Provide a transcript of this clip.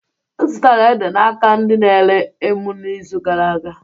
M zụtara ede n'aka ndị na-ere emu n'izu gara a